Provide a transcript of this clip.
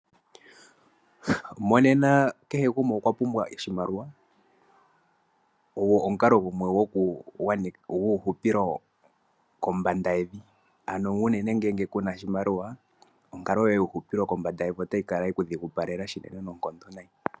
Monena kehe gumwe okwa pumbwa oshimaliwa . Ogo omukalo gumwe guuhupilo kombanda yevi . Ano unene ngele kuna oshimaliwa onkalo yoye yuuhupilo kombanda yevi otayi kala yeku dhigupalela shinene noonkondo nayi.